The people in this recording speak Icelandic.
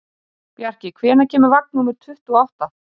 Bjarki, hvenær kemur vagn númer tuttugu og átta?